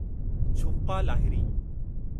Jhumpa Lahiri